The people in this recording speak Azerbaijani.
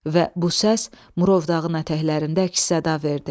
Və bu səs Murovdağın ətəklərində əks-səda verdi.